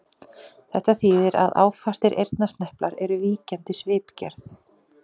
Þetta þýðir að áfastir eyrnasneplar eru víkjandi svipgerð.